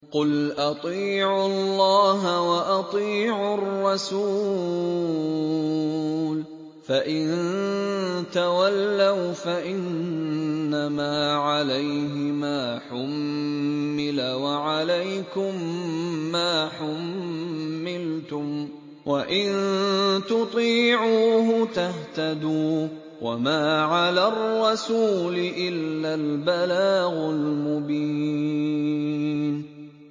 قُلْ أَطِيعُوا اللَّهَ وَأَطِيعُوا الرَّسُولَ ۖ فَإِن تَوَلَّوْا فَإِنَّمَا عَلَيْهِ مَا حُمِّلَ وَعَلَيْكُم مَّا حُمِّلْتُمْ ۖ وَإِن تُطِيعُوهُ تَهْتَدُوا ۚ وَمَا عَلَى الرَّسُولِ إِلَّا الْبَلَاغُ الْمُبِينُ